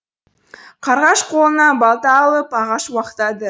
қарғаш қолына балта алып ағаш уақтады